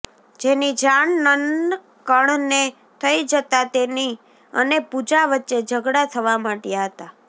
જેની જાણ નનકણને થઇ જતાં તેની અને પૂજા વચ્ચે ઝઘડા થવા માંડયા હતા